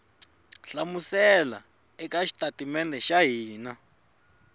hlamusela eka xitatimede xa hina